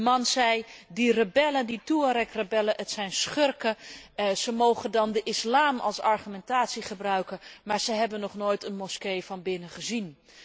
De man zei Die rebellen, die Touaregrebellen zijn schurken, zij mogen dan de islam als argumentatie gebruiken, maar zij hebben nog nooit een moskee vanbinnen gezien!.